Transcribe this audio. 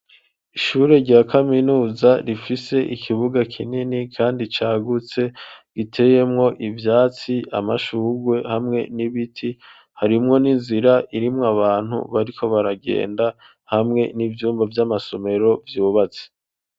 Ishure rya kaminuza, rifise ikibuga kinini, kandi cagutse, giteyemwo ivyatsi, amashurwe, hamwe n'ibiti; harimwo n'inzira, irimwo abantu, bariko baragenda, hamwe n'ivyumba vy'amasomero vyubatse.